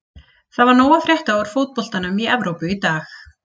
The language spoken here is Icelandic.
Það var nóg að frétta úr fótboltanum í Evrópu í dag.